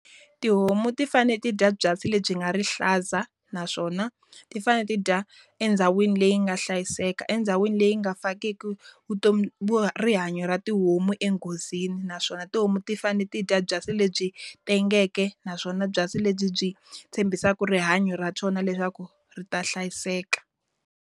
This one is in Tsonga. Tihomu ti fanele ti dya byasi lebyi nga rihlaza naswona, ti fanele ti dya endhawini leyi nga hlayiseka endhawini leyi nga fakiku vutomi rihanyo ra tihomu enghozini. Naswona tihomu ti fanele ti dya byasi lebyi tengeke, naswona byasi lebyi byi tshembisaka rihanyo ra swona leswaku ri ta hlayiseka.